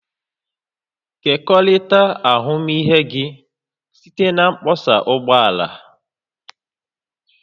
Kekọrịta ahụmịhe gị site na mkpọsa ụgbọ ala